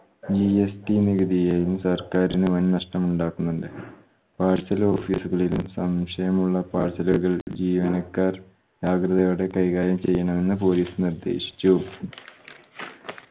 GST നികുതിയെയും സർക്കാരിന് വൻ നഷ്ടമുണ്ടാക്കുന്നുണ്ട്. parcel office ഉകളിലും സംശയമുള്ള parcel ഉകൾ ജീവനക്കാർ ജാഗൃതയോടെ കൈകാര്യം ചെയ്യണമെന്ന് police നിർദ്ദേശിച്ചു.